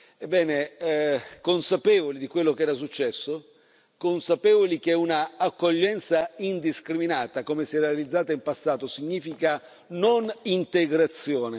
Ebbene, consapevoli di quello che era successo, consapevoli che una accoglienza indiscriminata, come si era realizzata in passato, significa non integrazione.